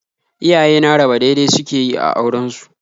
Iyaye na raba dai-dai suke yi a auren su